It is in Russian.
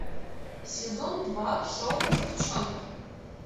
сезон два шоу девчонки